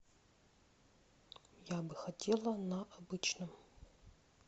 я бы хотела на обычном